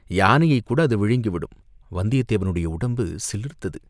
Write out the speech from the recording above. யானையைக் கூட அது விழுங்கி விடும்!" வந்தியத்தேவனுடைய உடம்பு சிலிர்த்தது.